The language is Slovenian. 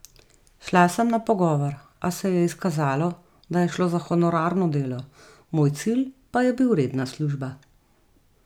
Šla sem na pogovor, a se je izkazalo, da je šlo za honorarno delo, moj cilj pa je bil redna služba.